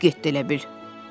Uçub getdi elə bil.